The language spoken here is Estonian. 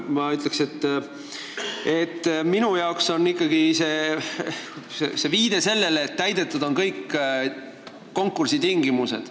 Ma ütleks, et minu jaoks on see ikkagi viide sellele, et on täidetud kõik konkursi tingimused.